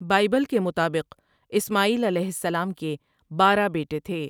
Bible کے مطابق اسماعیل علیہ سلام کے بارہ بیٹے تھے ۔